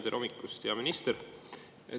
Tere hommikust, hea minister!